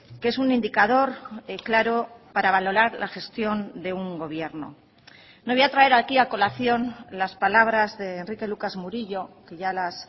que es un indicador claro para valorar la gestión de un gobierno no voy a traer aquí a colación las palabras de enrique lucas murillo que ya las